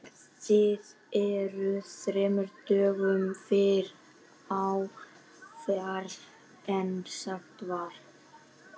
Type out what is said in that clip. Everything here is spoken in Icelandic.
Þú ert þremur dögum fyrr á ferð en sagt var.